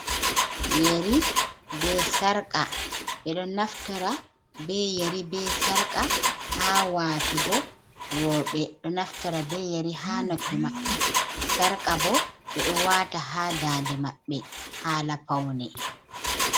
Yeri be sarƙa. Ɓe ɗo naftira be yeri be sarƙa ha waatugo. Rowɓe ɗo naftira be yeri ha noppi maɓɓe. Sarka bo, ɓe ɗo waata ha dande maɓɓe.